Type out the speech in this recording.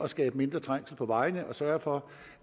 skabe mindre trængsel på vejene og sørge for